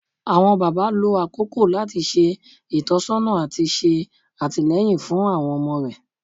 Awọn baba, lo akoko lati ṣe itọsọna ati ṣe atilẹyin fun awọn ọmọ rẹ